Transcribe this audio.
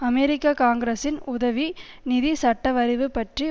அமெரிக்க காங்கிரசின் உதவி நிதி சட்டவரைவு பற்றி